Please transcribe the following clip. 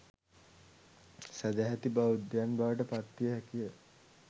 සැදැහැති බෞද්ධයන් බවට පත්විය හැකිය.